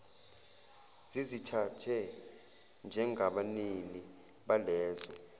zizithathe njengabanini balezo